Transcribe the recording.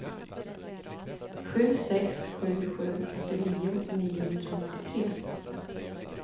sju sex sju sju åttionio niohundranittiotre